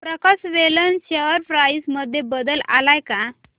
प्रकाश woollen share price मध्ये बदल आलाय का